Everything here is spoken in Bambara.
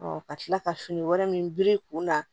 ka tila ka fini wɛrɛ min biri i kun na